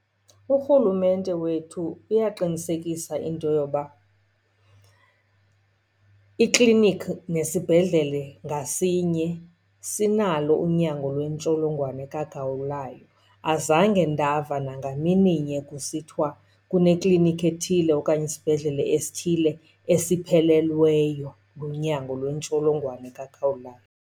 Urhulumente wethu uyaqinisekisa into yoba iklinikhi nesibhedlele ngasinye sinalo unyango lwentsholongwane kagawulayo. Azange ndava nangamini nye kusithiwa kuneklinikhi ethile okanye isibhedlele esithile esiphelelweyo lunyango lwentsholongwane kagawulayo.